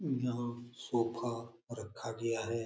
यहाँ सोफा रखा गया है ।